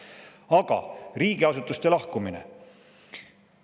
Aga riigiasutuste lahkumine.